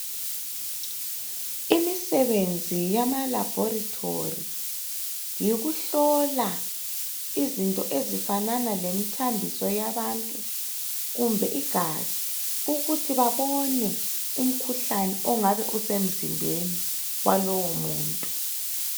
Imisebenzi yama laboratory yikuhlola izinto ezifanana lemthambiso yabantu kumbe igazi ukuthi babone umkhuhlane ongabe usemzimbeni walowo muntu.